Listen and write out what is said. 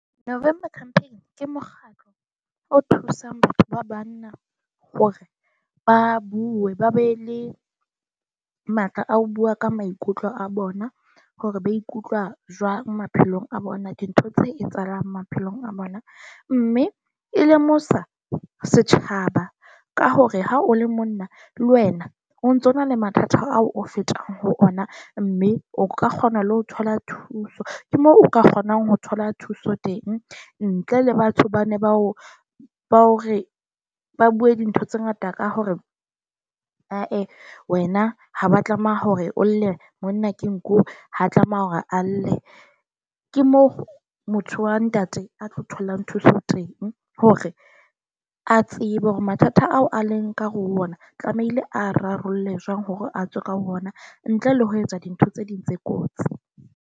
November Campaign ke mokgatlo o thusang batho ba banna hore ba bue, ba be le matla a ho bua ka maikutlo a bona. Hore ba ikutlwa jwang maphelong a bona. Dintho tse etsahalang maphelong a bona, mme e lemosa setjhaba ka hore ha o le monna le wena, o ntso na le mathata ao o fetang ho ona. Mme o ka kgona le ho thola thuso, ke moo o ka kgonang ho thola thuso teng ntle le batho ba ne bao ba hore ba bue dintho tse ngata ka hore ae wena ha ba tlameha hore o lle, monna ke nku ha tlameha hore a lle. Ke moo motho wa ntate a tlo tholang thuso teng, hore a tsebe hore mathata ao a leng ka hare o ona tlamehile a rarolle jwang hore a tswe ka ho ona. Ntle le ho etsa dintho tse ding tse kotsi.